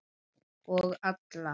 Og alla.